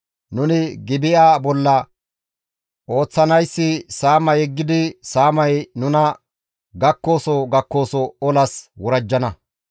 Nuni Gibi7a bolla ooththanayssi saama yeggidi saamay nuna gakkoso gakkoso olas worajjana.